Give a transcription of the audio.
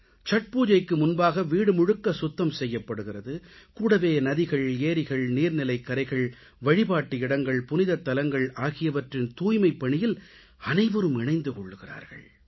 சத்பூஜைக்கு முன்பாக வீடு முழுக்க சுத்தம் செய்யப்படுகிறது கூடவே நதிகள் ஏரிகள் நீர்நிலைக்கரைகள் வழிபாட்டு இடங்கள் புனிதத் தலங்கள் ஆகியவற்றின் தூய்மைப் பணியில் அனைவரும் இணைந்து கொள்கிறார்கள்